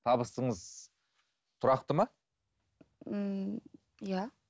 табысыңыз тұрақты ма ммм иә